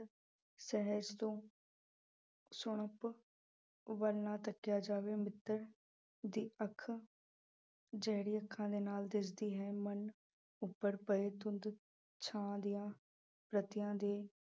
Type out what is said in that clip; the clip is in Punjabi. ਸਹਿਜ ਤੋਂ ਸੁਣਪ ਵੱਲ ਨਾ ਤੱਕਿਆ ਜਾਵੇ, ਮਿੱਤਰ ਦੀ ਅੱਖ ਜਿਹੜੀ ਅੱਖਾਂ ਦੇ ਨਾਲ ਦਿਸਦੀ ਹੈ ਮਨ ਉੱਪਰ ਪਏ ਧੁੰਦ ਛਾਂ ਦੀਆਂ ਰੱਤਿਆਂ ਦੇ